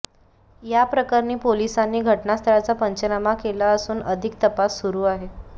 या प्रकरणी पोलिसांनी घटनास्थळाचा पंचनामा केला असून अधिक तपास सुरू आहे